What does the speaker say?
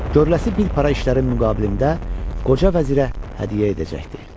görəcəyi bir para işlərin müqabilində qoca vəzirə hədiyyə edəcəkdi.